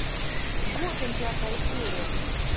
готэм пятая серия